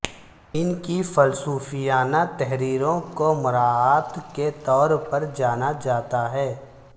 ان کی فلسفیانہ تحریروں کو مراعات کے طور پر جانا جاتا ہے